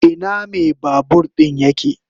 Ina mai babur din yake?